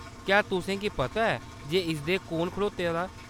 क्या तुसेंगी पता ऐ जे इसदे कु'न खड़ोते दा ?